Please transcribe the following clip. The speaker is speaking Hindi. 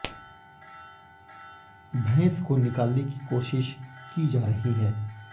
भैंस को निकालने की कोशिश की जा रही है